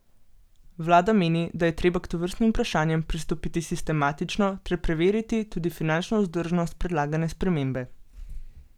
Vlada meni, da je treba k tovrstnim vprašanjem pristopiti sistematično ter preveriti tudi finančno vzdržnost predlagane spremembe.